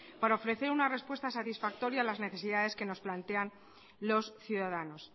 para ofrecer una respuesta satisfactoria a las necesidades que nos plantean los ciudadanos